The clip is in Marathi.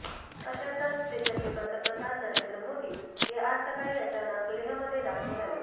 अशातच देशाचे पंतप्रधान नरेंद्र मोदी हे आज सकाळी अचानक लेहमध्ये दाखल झाले